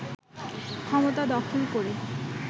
ক্ষমতা দখল করে